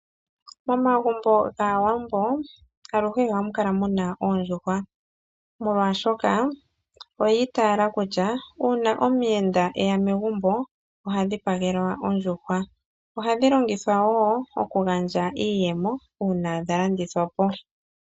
Momagumbo gAawambo aluhe ohamu kala muna oondjuhwa, molwaashoka oyi itaala kutya uuna omuyenda eya megumbo oha dhipagelwa ondjuhwa. Ohadhi longithwa okugandja iiyemo uuna dhalandi lthwa po.